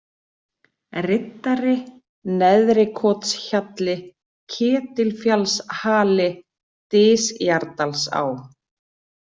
Riddari, Neðri-Kothjalli, Ketilfjallshali, Dysjardalsá